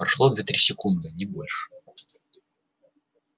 прошло две-три секунды не больше